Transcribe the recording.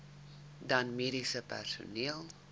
dan mediese personeel